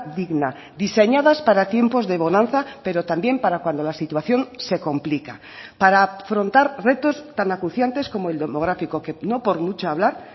digna diseñadas para tiempos de bonanza pero también para cuando la situación se complica para afrontar retos tan acuciantes como el demográfico que no por mucho hablar